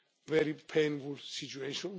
proud of this very painful